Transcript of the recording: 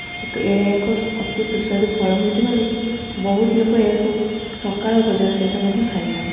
ଏକ ଏଇଟା ଏକ ଅତି ସୁସ୍ୱାଦୁ ଫଳ ହୋଇଥିବାରୁ ବହୁତ ଲୋକ ଏହାକୁ ସକାଳ ଭୋଜନ ସହିତ ମଧ୍ୟ ଖାଇଥାନ୍ତି।